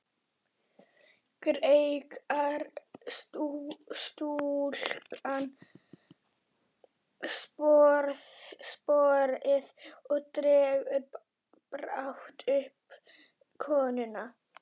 Greikkar stúlkan sporið og dregur brátt uppi konuna.